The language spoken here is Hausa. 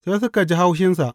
Sai suka ji haushinsa.